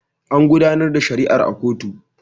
An gudanar da shari'a a kotu.